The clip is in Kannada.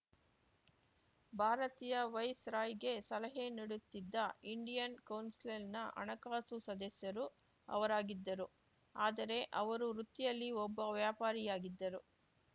ಭಾರತೀಯ ವೈಸ್‌ರಾಯ್‌ಗೆ ಸಲಹೆ ನೀಡುತ್ತಿದ್ದ ಇಂಡಿಯನ್‌ ಕೌನ್ಸಿಲ್‌ನ ಹಣಕಾಸು ಸದಸ್ಯರು ಅವರಾಗಿದ್ದರು ಆದರೆ ಅವರು ವೃತ್ತಿಯಲ್ಲಿ ಒಬ್ಬ ವ್ಯಾಪಾರಿಯಾಗಿದ್ದರು